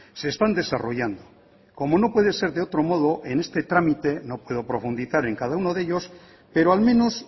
se están desarrollando como no puede ser de otro modo en este trámite no puedo profundizar en el cada uno de ellos pero al menos